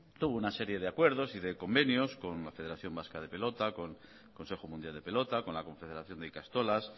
tuvo una serie de acuerdos y de convenios con la federación vasca de pelota consejo mundial de pelota con la confederación de ikastolas